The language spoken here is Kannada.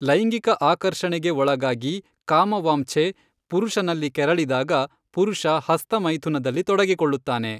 ಲೈಂಗಿಕ ಆಕರ್ಷಣೆಗೆ ಒಳಗಾಗಿ ಕಾಮ ವಾಂಛೆ ಪುರುಷನಲ್ಲಿ ಕೆರಳಿದಾಗ ಪುರುಷ ಹಸ್ತಮೈಥುನದಲ್ಲಿ ತೊಡಗಿಕೊಳ್ಳುತ್ತಾನೆ.